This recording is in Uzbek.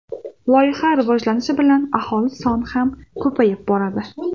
Loyiha rivojlanishi bilan aholi soni ham ko‘payib boradi.